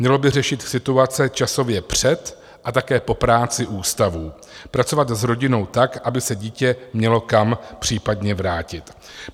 Mělo by řešit situace časově před a také po práci ústavů, pracovat s rodinou tak, aby se dítě mělo kam případně vrátit.